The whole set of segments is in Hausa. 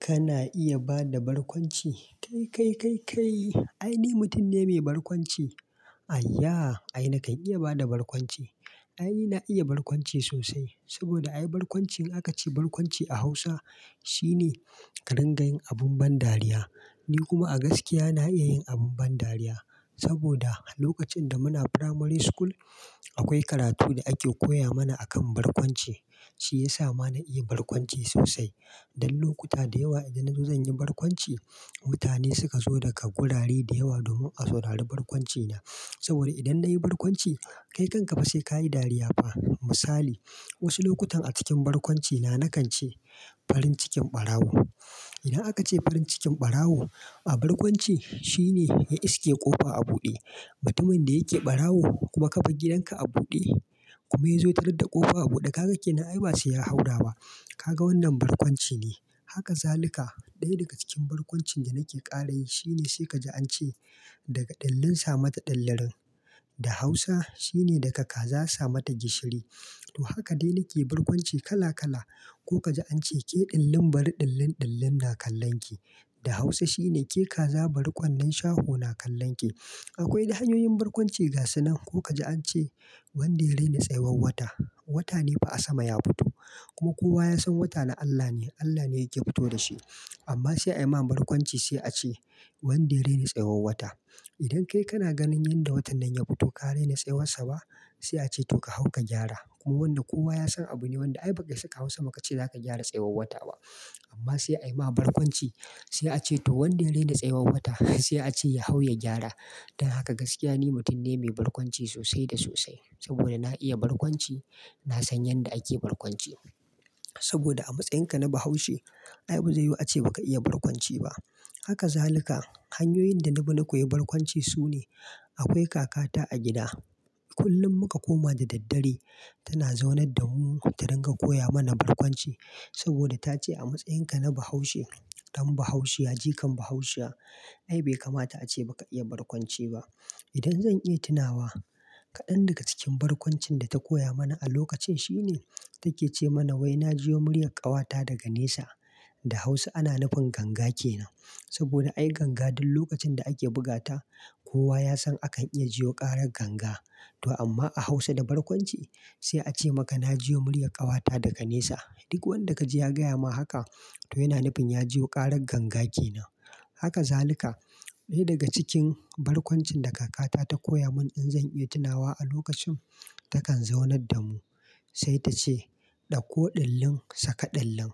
Kana iya ba da barƙwanci? Kai, kai, kai, kai! Ai, ni mutum ne mai barkwanci. Aiya! Ai, na kan iya ba da barkwanci. Ai, na iya barkwanci sosai. Saboda ai, barkwanci in aka ce barkwanci a Hausa, shi ne ka dinga yin abun ban dariya. Ni kuma a gaskiya na iya yin abun ban dariya. Saboda lokacin da muna Primary School, akwai karatu da ake koya mana akan barkwanci, shi ya sa ma na iya barkwanci sosai. Don lokuta da yawa idan na zo zan yi barkwanci, mutane suka zo daga gurare da yawa domin a saurari barkwancina. Saboda idan na yi barkwanci, kai kanka ba sai ka yi dariya fa. Misali, wasu lokutan a cikin barkwancina na kan ce, farin cikin ɓarawo. Idan aka ce farin cikin ɓarawo a barkwanci, shi ne ya iske ƙofa a buɗe. Mutumin da yake ɓarawo kuma kabar gidanka a buɗe kuma ya zo ya tarar da ƙofa a buɗe, kaga kenan, ai ba sai ya haura ba. Kaga wannan barkwanci ne. Haka zaluka. Ɗaya daga cikin barƙwancin da nake ƙara yi, shi ne sai ka ji an ce daga ɗillin sa ma ta ɗillirin. Da Hausa, shi ne daga kaza sa ma ta gishiri. To haka dai nake barƙwanci kala kala. Ko ka ji an ce ke ɗillin bari ɗillin ɗillin na kallon ki. Da Hausa, shi ne ke kaza bari ƙwandon shaho na kallon ki. Akwai dai hanyoyin barƙwanci ga su nan. Ko ka je an ce wanda ya raina tsayuwar wata, wata ne fa a sama ya fito. Kuma kowa ya san wata na Allah ne, Allah ne yake fito da shi. Amma sai ayi ma barƙwanci sai a ce wanda ya raina tsayuwar wata. Idan kai kana ganin yanda watan nan ya fito, ka raina tsayuwar sa ba? Sai a ce to ka hau ka gyara. Kuma wannan kowa ya san abu ne wanda ai ba ka isa ka hau sama kace za ka gyara tsayuwar wata ba. Amma sai ayi ma barƙwanci sai a ce to wanda ya raina tsayuwar wata sai a ce ya hau ya gyara. Don haka gaskiya ni mutum ne mai barƙwanci sosai da sosai. Saboda na iya barƙwanci, na san yanda ake barƙwanci. Saboda a matsayinka na Bahaushe, ai ba zai yiwu a ce ba ka iya barkwanci ba. Haka zaluka hanyoyin da na bi na koyi barƙwanci su ne, akwai kakata a gida, kullum muka koma da daddare tana zaunar da mu ta ringa koya mana barkwanci. Saboda ta ce a matsayinka na Bahaushe, don Bahaushiya jikan Bahaushiya, ai bai kamata a ce ba ka iya barƙwanci ba. Idan zan iya tunawa, kaɗan daga cikin barƙwancin da ta koya mana a lokacin shi ne take ce mana wai na jiwo muryar ƙawata daga nesa. Da Hausa ana nufin ganga ke nan. Saboda ai ganga duk lokacin da ake buga ta, kowa ya san akan iya jiyo ƙarar ganga. To amma a Hausa da barkwanci sai a ce maka na jiwo muryar ƙawata daga nesa. Duk wanda ka ji ya gaya ma haka, to yana nufin ya jiyo ƙarar ganga ke nan. Haka zaluka. Ɗaya daga cikin barkwancin da kakata ta koya mun in zan iya tunawa a lokacin takan zaunar da mu, sai ta ce ɗauko ɗillin saka ɗillin.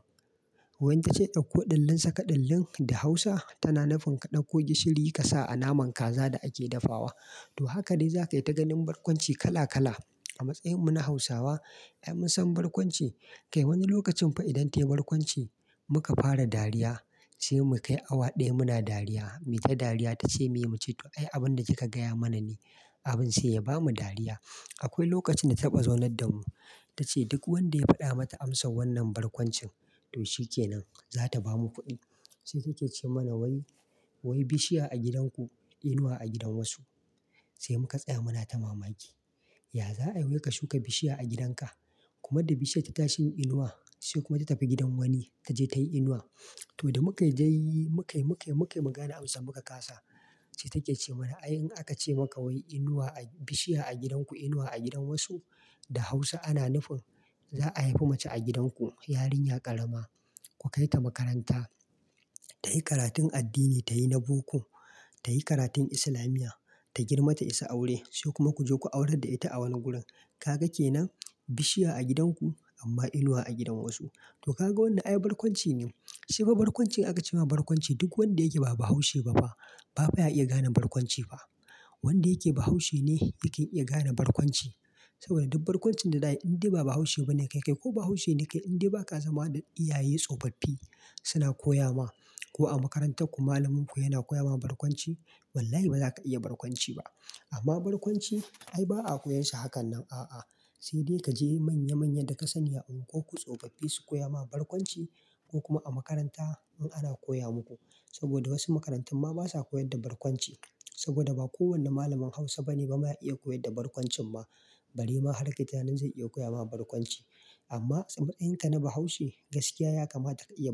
Wai inta ce ɗauko ɗillin saka ɗillin da Hausa tana nufin ka ɗauko gishiri ka sa a naman kaza da ake dafawa. To haka dai za kayi ta ganin barƙwanci kala kala. A matsayinmu na Hausawa, ai mun san barƙwanci. Kai wani lokacin fa idan tayi barƙwanci muka fara dariya, sai mu kai awa ɗaya muna dariya. Mu yi ta dariya ta ce meye, mu ce to ai abun da kika gaya mana ne abin sai ya bamu dariya. Akwai lokacin da taɓa zaunar da mu. Ta ce duk wanda ya faɗa mata amsar wannan barƙwancin, to shi ke nan za ta ba mu kuɗi. Sai take ce mana wai, wai bishiya a gidan ku inuwa a gidan wasu. Sai mu ka tsaya muna ta mamaki. Ya za ayi yau ka shuka bishiya a gidan ka, kuma da bishiyar ta tashi yin inuwa sai kuma ta tafi gidan wani ta je tayi inuwa. To da muka dai yi, mukai, mukai, mukai mu gane amsa muka kasa. Sai take ce mana ai in aka ce maka wai inuwa a, bishiya a gidan ku inuwa a gidan wasu, da Hausa ana nufin za a haifi mace a gidan ku. Yarinya ƙarama. Ku kai ta makaranta, tayi karatun addini, tayi na boko, tayi karatun islamiyya, ta girma ta isa aure sai kuma ku je ku aurar da ita a wani gurin. Ka ga ke nan bishiya a gidan ku amma inuwa a gidan wasu. To kaga wannan ai barkwanci ne. Shi fa barƙwanci aka ce ma barƙwanci duk wanda yake ba Bahaushe ba fa, ba fa ya iya gane barƙwanci ba. Wanda yake Bahaushe ne yake iya gane barƙwanci. Saboda duk barƙwancin da za ayi in dai ba Bahaushe ba ne kai, kai ko Bahaushe ne kai in dai ba ka zama da iyaye tsofaffi suna koya ma ko a makarantar ku malaminku yana koya ma barƙwanci, wallahi ba za ka iya barƙwanci ba. Amma barƙwanci ai ba a koyar shi hakan nan a'a. Sai dai ka je manya manyan da ka sani a unguwar ku tsofaffi su koya ma barƙwanci ko kuma a makaranta in ana koya muku. Saboda wasu makarantun ma basa koyar da barƙwanci. Saboda ba kowane malamin Hausa bane ba ma ya iya koyar da barƙwancin ma. Bare ma har kayi tunanin zai iya koya ma barƙwanci. Amma a matsayinka na Bahaushe, gaskiya ya kamata ka iya.